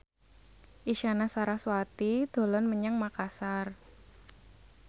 Isyana Sarasvati dolan menyang Makasar